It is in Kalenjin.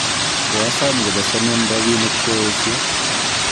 koasom kobesenwon robinik koesyo